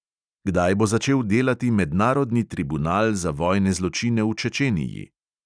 Kdaj bo začel delati mednarodni tribunal za vojne zločine v čečeniji?